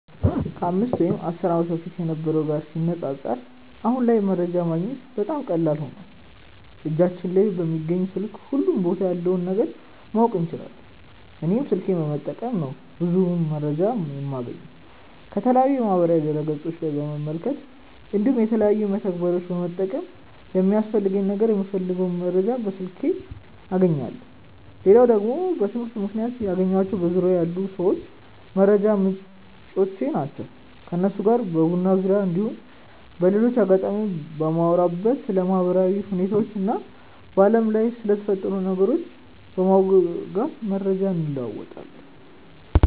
ከ 5 ወይም 10 ዓመት በፊት ከነበረው ጋር ሲነጻጸር አሁን ላይ መረጃ ማግኘት በጣም ቀላል ሆኖዋል እጃችን ላይ በሚገኝ ስልክ ሁሉም ቦታ ያለውን ነገር ማወቅ እንችላለን። እኔም ስልኬን በመጠቀም ነው ብዙ መረጃዎችን የማገኘው። ከተለያዩ የማህበራዊ ድረ ገፆች ላይ በመመልከት እንዲሁም የተለያዩ መተግበሪያዎችን በመጠቀም ለሚያስፈልገኝ ነገር የምፈልገውን መረጃ በስልኬ አገኛለው። ሌላው ደግሞ በትምህርት ምክንያት ያገኘኳቸው በዙርያዬ ያሉ ሰዎች የመረጃ ምንጮቼ ናቸው። ከነሱ ጋር በቡና ዙርያ እንዲሁም በሌሎች አጋጣሚዎች በማውራት ስለ ማህበራዊ ሁኔታዎች እና በአለም ላይ ስለተፈጠሩ ነገሮች በማውጋት መረጃ እንለወጣለን።